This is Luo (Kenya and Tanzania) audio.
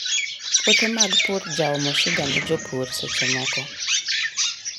Puothe mag pur jaomo shida ne jopur secchemoko.